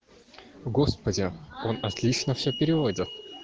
господи он отлично все переводит